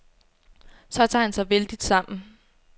Så tager han sig vældigt sammen.